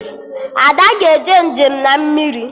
Ada ga-eje njem na mmiri